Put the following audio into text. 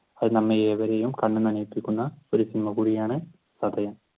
അത് നമ്മെ ഏവരേയും കണ്ണ് നനപ്പിക്കുന്ന ഒരു സിനിമകൂടിയാണ് ചതയം.